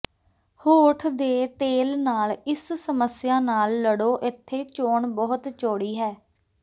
ਹੋਠ ਦੇ ਤੇਲ ਨਾਲ ਇਸ ਸਮੱਸਿਆ ਨਾਲ ਲੜੋ ਇੱਥੇ ਚੋਣ ਬਹੁਤ ਚੌੜੀ ਹੈ